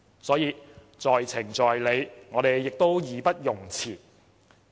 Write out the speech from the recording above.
所以，在情在理，我們義不容辭。